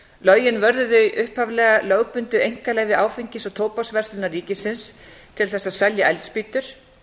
lögin verði upphaflega lögbundið einkaleyfi áfengis og tóbaksverslunar ríkisins til að selja eldspýtur